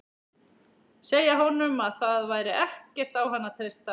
Segja honum að það væri ekkert á hann að treysta.